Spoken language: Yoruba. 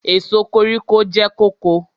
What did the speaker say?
Èso koríko jẹ́ kóko.